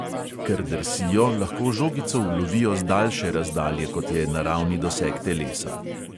Ker drsijo, lahko žogico ulovijo z daljše razdalje, kot je naravni doseg telesa.